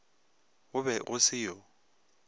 go be go se yo